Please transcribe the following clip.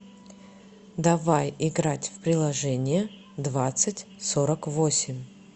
давай играть в приложение двадцать сорок восемь